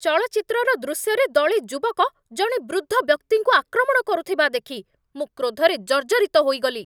ଚଳଚ୍ଚିତ୍ରର ଦୃଶ୍ୟରେ ଦଳେ ଯୁବକ ଜଣେ ବୃଦ୍ଧ ବ୍ୟକ୍ତିଙ୍କୁ ଆକ୍ରମଣ କରୁଥିବା ଦେଖି ମୁଁ କ୍ରୋଧରେ ଜର୍ଜରିତ ହୋଇଗଲି।